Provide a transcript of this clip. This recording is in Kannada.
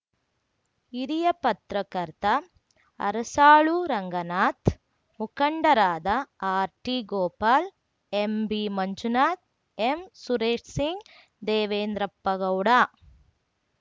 ಹಿರಿಯಪತ್ರಕರ್ತ ಅರಸಾಳು ರಂಗನಾಥ್‌ ಮುಖಂಡರಾದ ಆರ್‌ಟಿಗೋಪಾಲ್‌ ಎಂಬಿಮಂಜುನಾಥ್‌ ಎಂಸುರೇಶ್‌ಸಿಂಗ್‌ದೇವೇಂದ್ರಪ್ಪಗೌಡ